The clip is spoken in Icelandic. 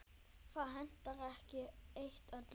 Það hentar ekki eitt öllum.